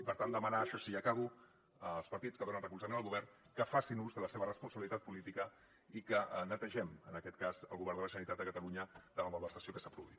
per tant demanar això sí i acabo als partits que donen recolzament al govern que facin ús de la seva responsabilitat política i que netegem en aquest cas el govern de la generalitat de catalunya de la malversació que s’ha produït